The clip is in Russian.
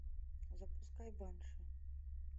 запускай банши